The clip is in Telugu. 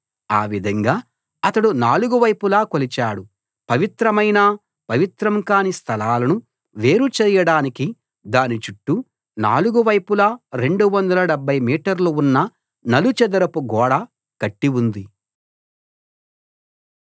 ఆవిధంగా అతడు నాలుగు వైపులా కొలిచాడు పవిత్రమైన పవిత్రం కాని స్థలాలను వేరు చేయడానికి దానిచుట్టూ నాలుగు వైపులా 270 మీటర్లు ఉన్న నలుచదరపు గోడ కట్టి ఉంది